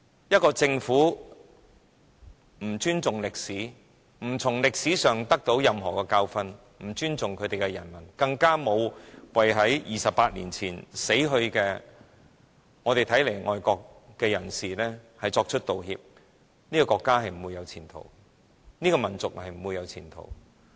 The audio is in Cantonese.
一個政府若不尊重歷史，不從歷史汲取任何教訓，不尊重其人民，不為在28年前死去、我們視為愛國的人士作出道歉，其國家或民族是不會有前途的。